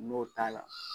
N'o t'a la